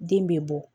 Den bɛ bɔ